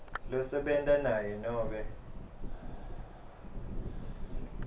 losebenta naye nobe